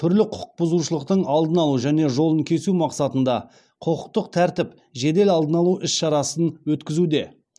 түрлі құқық бұзушылықтың алдын алу және жолын кесу мақсатында құқықтық тәртіп жедел алдын алу іс шарасын өткізуде